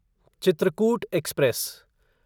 Chitrakoot express